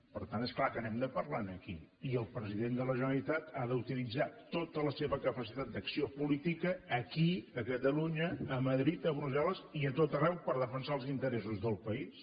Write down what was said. per tant és clar que n’hem de parlar aquí i el president de la generalitat ha d’utilitzar tota la seva capacitat d’acció política aquí a catalunya a madrid a brussel·les i a tot arreu per defensar els interessos del país